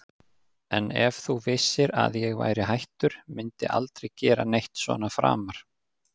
En ef þú vissir að ég væri hættur, mundi aldrei gera neitt svona framar?